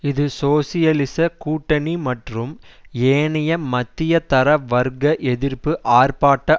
இது சோசியலிச கூட்டணி மற்றும் ஏனைய மத்தியதர வர்க்க எதிர்ப்பு ஆர்ப்பாட்ட